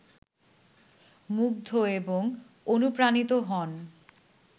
মুগ্ধ এবং অনুপ্রাণিত হন